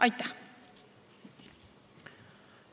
Aitäh!